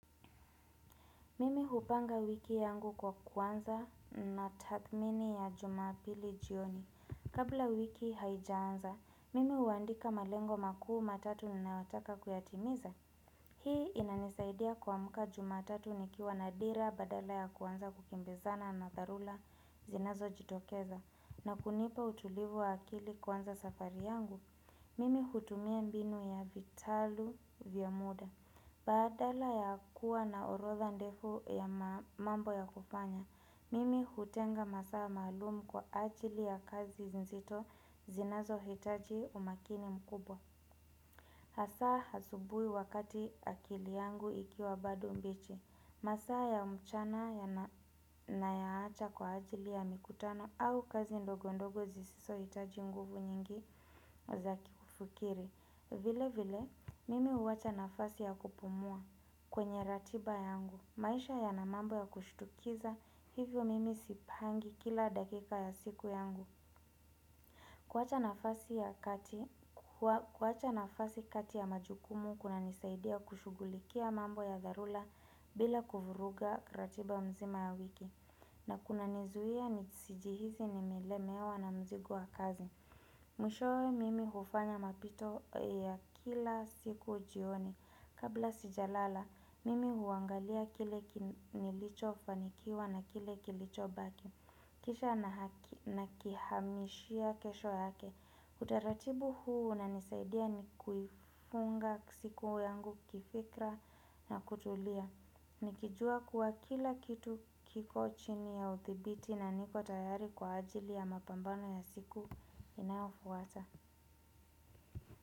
Mimi hupanga wiki yangu kwa kuanza na tathmini ya jumapili jioni. Kabla wiki haijaanza, mimi huandika malengo makuu matatu ninayotaka kuyatimiza. Hii inanisaidia kuamka jumatatu nikiwa na dira badala ya kuanza kukimbizana na tharula zinazojitokeza. Na kunipa utulivu wa akili kuanza safari yangu, mimi hutumia mbinu ya vitalu vya muda. Badala ya kuwa na orotha ndefu ya mambo ya kufanya, mimi hutenga masaa malumu kwa ajili ya kazi nzito zinazohitaji umakini mkubwa Hasaa hasubui wakati akili yangu ikiwa bado mbichi, masaa ya mchana na yaacha kwa ajili ya mikutano au kazi ndogo ndogo zisizo hitaji nguvu nyingi za kufikiri vile vile, mimi huacha nafasi ya kupumua kwenye ratiba yangu. Maisha ya na mambo ya kushtukiza, hivyo mimi sipangi kila dakika ya siku yangu. Kuacha nafasi ya kati, kuacha nafasi kati ya majukumu, kuna nisaidia kushugulikia mambo ya dharura bila kuvuruga ratiba nzima ya wiki. Na kuna nizuia nisijihizi nimelemewa na mzigo wa kazi. Mwishowe mimi hufanya mapito ya kila siku jioni. Kabla sijalala, mimi huangalia kile nilichofanikiwa na kile kilichobaki. Kisha nakihamishia kesho yake. Utaratibu huu unanisaidia nikiifunga siku yangu kifikra na kutulia Nikijua kuwa kila kitu kiko chini ya uthibiti na niko tayari kwa ajili ya mapambano ya siku inaofuata.